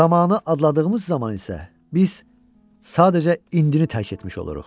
Zamanı adladığımız zaman isə biz sadəcə indini tərk etmiş oluruq.